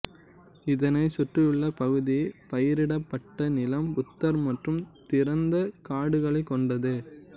இதனை சுற்றியுள்ள பகுதி பயிரிடப்பட்ட நிலம் புதர் மற்றும் திறந்த காடுகளை கொண்டது